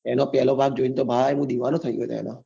એનો પહેલો ભાગ જોઈને તો ભાઈ હું દિવાનો થઈ ગયો એનો